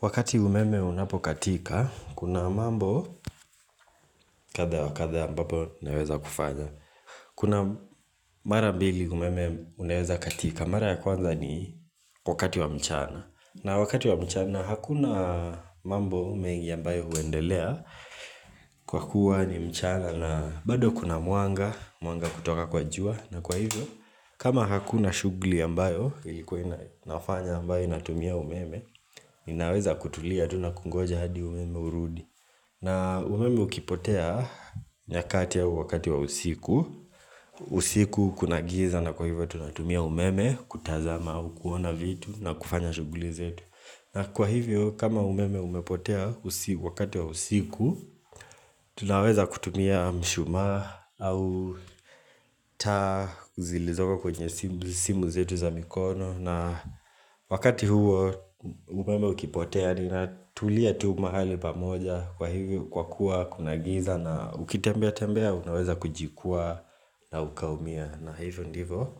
Wakati umeme unapokatika, kuna mambo kadha wa kadha ambapo naweza kufanya. Kuna mara mbili umeme unaweza katika, mara ya kwanza ni wakati wa mchana. Na wakati wa mchana hakuna mambo mengi ambayo huendelea kwa kuwa ni mchana na bado kuna mwanga, mwanga kutoka kwa jua na kwa hivyo. Kama hakuna shughuli ambayo ilikuwa inafanya ambayo inatumia umeme inaweza kutulia tu nakungoja hadi umeme urudi na umeme ukipotea nyakati au wakati wa usiku usiku kuna giza na kwa hivyo tunatumia umeme kutazama au kuona vitu na kufanya shughuli zetu na kwa hivyo kama umeme umepotea wakati wa usiku Tunaweza kutumia mshumaa au taa zilizoko kwenye simu zetu za mikono na wakati huo umeme ukipotea ninatulia tu mahali pamoja Kwa hivyo kwa kuwa kuna giza na ukitembea tembea Unaweza kujikwaa na ukaumia na hivyo ndivyo